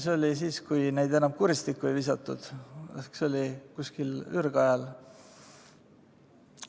See oli siis, kui neid enam kuristikku ei visatud ehk umbes ürgajal.